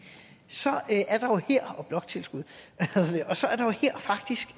og bloktilskuddet så det er faktisk